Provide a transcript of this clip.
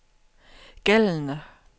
gældende